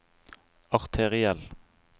arteriell